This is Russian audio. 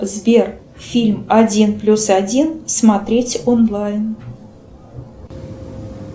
сбер фильм один плюс один смотреть онлайн